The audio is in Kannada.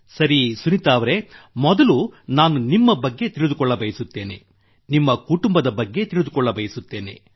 ಸರಿ ಸುನೀತಾ ಅವರೆ ಮೊದಲು ನಾನು ನಿಮ್ಮ ಬಗ್ಗೆ ತಿಳಿದುಕೊಳ್ಳಬಯಸುತ್ತೇನೆ ನಿಮ್ಮ ಕುಟುಂಬದ ಬಗ್ಗೆ ತಿಳಿದುಕೊಳ್ಳಬಯಸುತ್ತೇನೆ